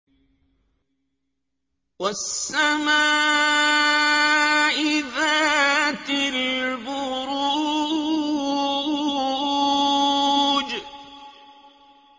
وَالسَّمَاءِ ذَاتِ الْبُرُوجِ